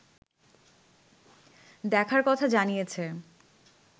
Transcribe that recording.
দেখার কথা জানিয়েছে